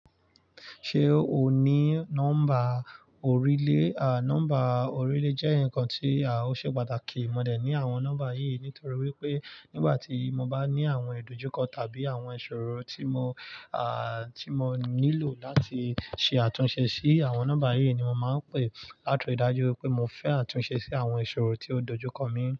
Ṣé o ní nọ́mbà orílè? A, nọ́mbà orílè jẹ́ nǹkan tí, à, ó ṣe pàtàkì. Mọ̀ dé ní àwọn nọ́mbà wọ̀nyí nítorí wípé nígbà tí mo bá ní àwọn ìdojúkọ tàbí àwọn ìṣòro tí mò, à, tí mò nílò láti ṣe àtúnṣe sí, àwọn nọ́mbà wọ̀nyí ni mò máa ń pè láti ìdájú wípé mò ń fẹ́ àtúnṣe sí àwọn ìṣòro tí ó dojú kọ mi.